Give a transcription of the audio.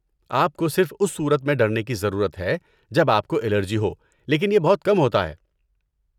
آپ کو صرف اس صورت میں ڈرنے کی ضرورت ہے جب آپ کو الرجی ہو لیکن یہ بہت کم ہوتا ہے۔